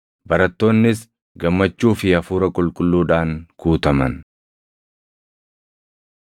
Barattoonnis gammachuu fi Hafuura Qulqulluudhaan guutaman.